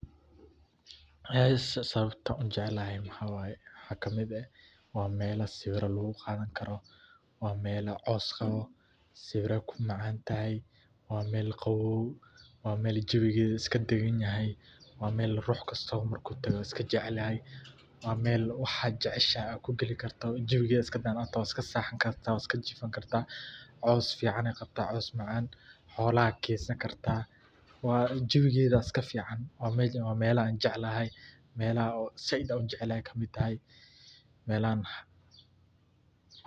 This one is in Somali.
Aysee sawabta aan uu jeclahay maxa waye maxa kamiid eh waa melaa sawira laguu qadaan kaaro waa melaa coows qawo sawiira kuu macan tahay waa mel qawow waa mel jawigeda iska dagaan yahay waa mel rux kastaba markuu taago iska jecel yahay waa mel waxa jeceshahay aa kuu gaali karto jawigeda iska banan iska sexan karta iska jiifan karta coows ficaney qabta coows macan xolaha kensaan karta waa jawigeda iska fican waa melaha aan jeclahay melaha oo said aan ujeclahay kamiid tahay melaha maxa